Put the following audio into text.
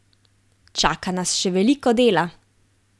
Čaka nas še veliko dela!